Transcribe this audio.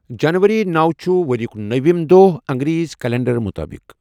جَنؤری نوَ چھُ ؤریُک نوَمِ دۄہ اَنگریزی کیلنڈَر مُطٲبِق،